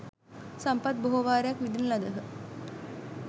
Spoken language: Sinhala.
සම්පත් බොහෝ වාරයක් විඳින ලදහ.